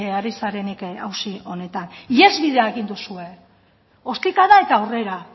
ari zarenik auzi honetan ihesbidea egin duzue ostikada eta aurrera